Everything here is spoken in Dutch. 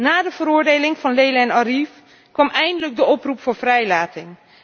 Na de veroordeling van Leyla en Arif kwam eindelijk de oproep voor vrijlating.